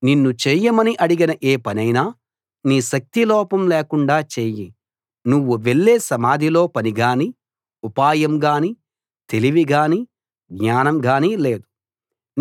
నిన్ను చేయమని అడిగిన ఏ పనైనా నీ శక్తి లోపం లేకుండా చేయి నువ్వు వెళ్ళే సమాధిలో పని గాని ఉపాయం గాని తెలివి గాని జ్ఞానం గాని లేదు